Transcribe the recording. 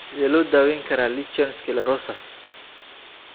Sidee loo daweyn karaa lichen Sclerosus?